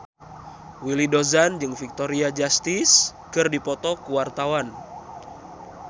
Willy Dozan jeung Victoria Justice keur dipoto ku wartawan